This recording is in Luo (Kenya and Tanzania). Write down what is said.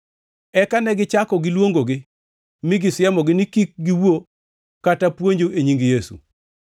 Eka ne gichak giluongogi mi gisiemogi ni kik giwuo kata puonjo e nying Yesu.